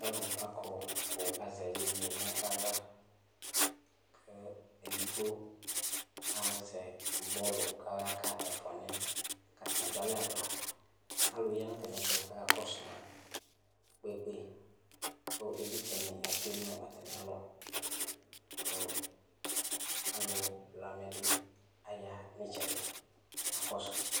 Alʋ akɔ kʋ azɛ iyeye nʋ aɣla kʋ edigbo azɛ bɔlʋ kʋ ɔyaka ɛfʋanɩ yɛ kʋ atanɩ adʋ alɛ aɣla Alʋ ya nʋ atamɩɛtʋ kʋ akakɔsʋ ma kpekpe kʋ ɩvlɩtsɛnɩ atsue nʋ atamɩalɔ kʋ alʋ blamɛ dɩ aya nʋ ɩtsɛdɩ kakɔsʋ